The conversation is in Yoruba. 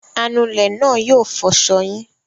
Anulẹ̀ náà yóò fọṣọ yín.